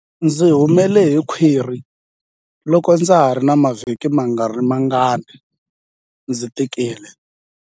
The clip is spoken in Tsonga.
Ndzi humele hi khwiri loko ndza ha ri na mavhiki mangarimangani ndzi tikile.